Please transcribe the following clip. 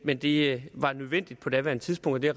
men det var nødvendigt på daværende tidspunkt og det